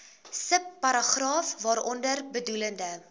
subparagraaf waaronder bedoelde